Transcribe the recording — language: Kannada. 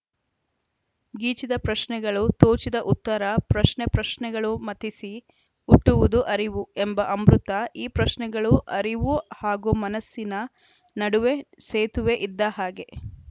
ಗೀಚಿದ ಪ್ರಶ್ನೆಗಳು ತೋಚಿದ ಉತ್ತರ ಪ್ರಶ್ನೆ ಪ್ರಶ್ನೆಗಳು ಮಥಿಸಿ ಹುಟ್ಟುವುದು ಅರಿವು ಎಂಬ ಅಮೃತ ಈ ಪ್ರಶ್ನೆಗಳು ಅರಿವು ಹಾಗೂ ಮನಸ್ಸಿನ ನಡುವೆ ಸೇತುವೆ ಇದ್ದ ಹಾಗೆ